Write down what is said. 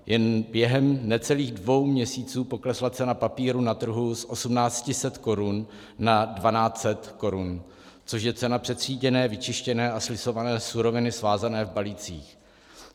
Jen během necelých dvou měsíců poklesla cena papíru na trhu z 1 800 korun na 1 200 korun, což je cena přetříděné, vyčištěné a slisované suroviny svázané v balících.